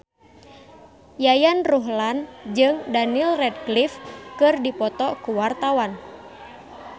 Yayan Ruhlan jeung Daniel Radcliffe keur dipoto ku wartawan